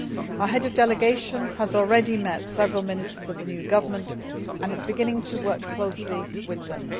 Our Head of Delegation has already met several ministers of the new government and is beginning to work closely with them.